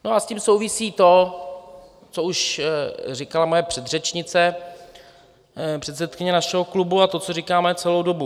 No a s tím souvisí to, co už říkala moje předřečnice, předsedkyně našeho klubu, a to, co říkáme celou dobu.